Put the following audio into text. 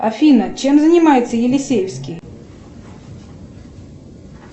афина чем занимается елисеевский